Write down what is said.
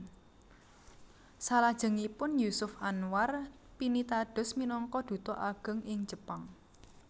Salajengipun Jusuf Anwar pinitados minangka duta ageng ing Jepang